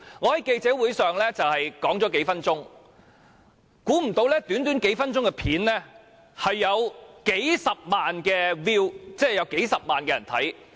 我在記者會上發言數分鐘，料不到短短數分鐘的片段竟然有數十萬人次瀏覽。